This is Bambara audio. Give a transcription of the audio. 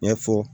Ɲɛfɔ